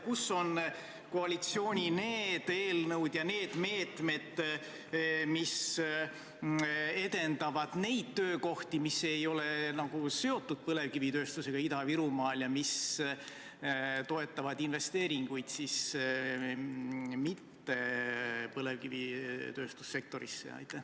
Kus aga on koalitsiooni need eelnõud ja need meetmed, mis edendavad nende töökohtade loomist, mis ei ole seotud põlevkivitööstusega Ida-Virumaal ja mis toetavad investeeringuid mittepõlevkivitööstuse sektorisse?